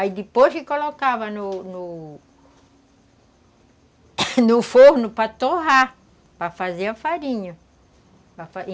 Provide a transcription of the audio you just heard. Aí depois colocava no no forno para torrar, para fazer a farinha.